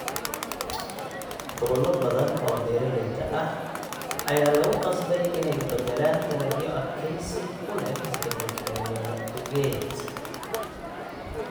Gobollo badan oo beeralayda ah ayaa lagu qasbay inay u beddelaan dalagyo adkaysi u leh isbeddelka cimilada awgeed.